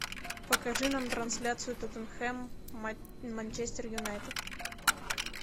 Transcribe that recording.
покажи нам трансляцию тоттенхэм манчестер юнайтед